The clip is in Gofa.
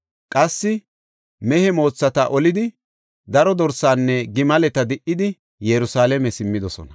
Qassi mehe moothata olidi, daro dorsaanne gimaleta di77idi, Yerusalaame simmidosona.